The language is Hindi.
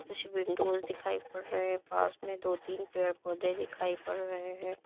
कुछ विंडोज दिखाइ पड़ रहे है पास में दो तीन पेड़ पौधे दिखाई पड़ रहे हैं।